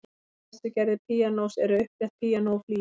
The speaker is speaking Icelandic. Tvær helstu gerðir píanós eru upprétt píanó og flygill.